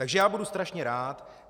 Takže já budu strašně rád.